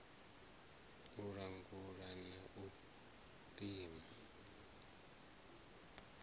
u langula na u pima